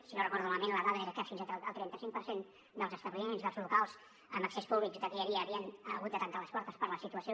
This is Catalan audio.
si no ho recordo malament la dada era que fins al trenta cinc per cent dels establiments dels locals amb accés públic que hi havia havien hagut de tancar les portes per la situació